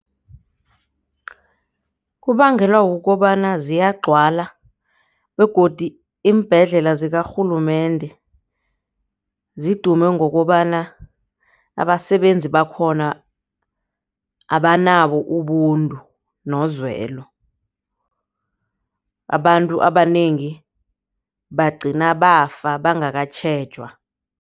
Kubangelwa kukobana ziyagcwala begodu iimbhedlela zikarhulumende zidume ngokobana abasebenzi bakhona abanabo ubuntu nozwelo. Abantu abanengi bagcina bafa bangakatjhejwa.